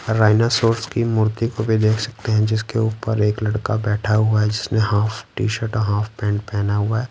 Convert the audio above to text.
Rhinoceros की मूर्ति को भी देख सकते हैं जिसके ऊपर एक लड़का बैठा हुआ है जिसने हाफ टी-शर्ट और हाफ पैंट पहना हुआ है।